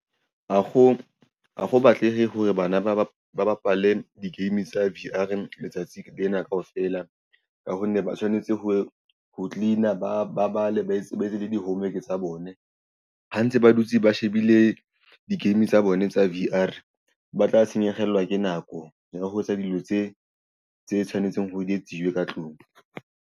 Ha ho batleha hore bana ba ba ba bapale di-game tsa V_R letsatsi lena kaofela ka ho nne ba tshwanetse ho cleaner ba ba bale ba sebetse le di-home work tsa bone ha ntse ba dutse ba shebile di-game tsa bone tsa V_R ba tla senyehellwa ke nako ya ho etsa dilo tse tshwanetseng hore di etsiwe ka tlung.